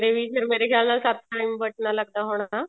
ਦੇ ਵੀ ਫੇਰ ਮੇਰੇ ਖਿਆਲ ਨਾਲ ਸੱਤ time ਬਟਨਾ ਲੱਗਦਾ ਹੋਣਾ